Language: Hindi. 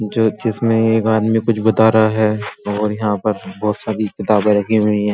ज्योतिस में एक आदमी को कुछ बता रहा है और यहाँ पर बोहोत सारी किताबे रखी हुई हैं।